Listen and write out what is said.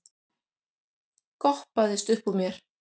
goppaðist uppúr mér.